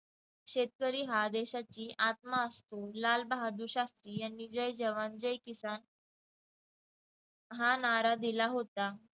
शेतकरी हा देशाची आत्मा असून लालबहादूर शास्त्री यांनी जय जवान जय किसान हा नारा दिला होता.